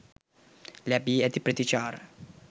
ලැබී ඇති ප්‍රතිචාර.